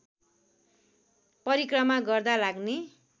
परिक्रमा गर्दा लाग्ने